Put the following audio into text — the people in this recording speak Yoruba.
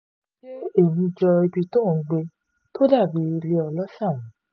ṣe ẹ̀mí jọ ibi tó ò ń gbé tó dà bíi ilé ọ̀lọ̀sà